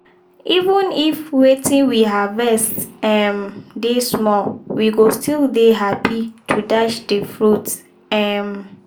even if wetin we harvest um dey small we go still dey happy to dash de fruits. um